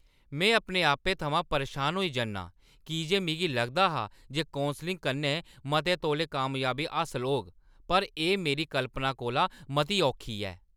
में अपने आपै थमां परेशान होई जन्नी आं की जे मिगी लगदा हा जे कौंसलिंग कन्नै मते तौले कामयाबी हासल होग, पर एह् मेरी कल्पना कोला मती औखी ऐ।